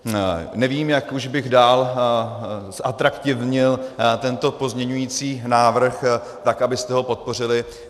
Nevím, jak už bych dál zatraktivnil tento pozměňující návrh, tak abyste ho podpořili.